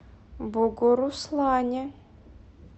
бугуруслане